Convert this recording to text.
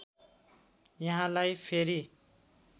यहाँलाई फेरि